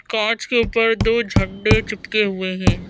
कांच के ऊपर दो झंडे चिपके हुए हैं।